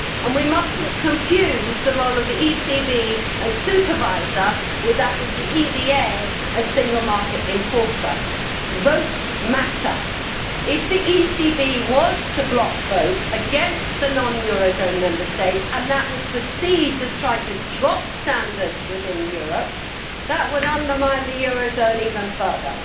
We must not confuse the role of the ECB as supervisor with that of the EBA as single market enforcer. Votes matter. If the ECB was to block vote against the non euro zone Member States and that was perceived as trying to drop standards within Europe, then that would undermine the euro zone even further.